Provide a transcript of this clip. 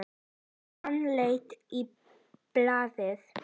Hann leit á blaðið.